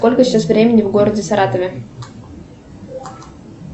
сколько сейчас времени в городе саратове